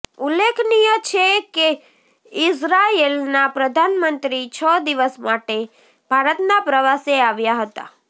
ઉલ્લેખનીય છે કે ઈઝરાયેલના પ્રધાનમંત્રી છ દિવસ માટે ભારતના પ્રવાસે આવ્યા હતા